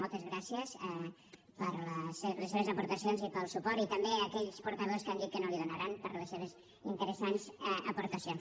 moltes gràcies per les seves aportacions i pel suport i també a aquells portaveus que han dit que no l’hi donaran per les seves interesants aportacions